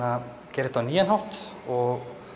gera þetta á nýjan hátt og